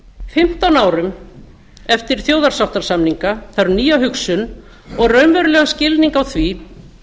fimmtán árum eftir þjóðarsáttarsamninga þarf nýja hugsun og raunverulegan skilning á því